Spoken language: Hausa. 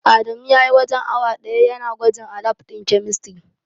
Adamu spent almost an hour testing at the chemistry lab.